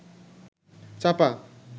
চাপা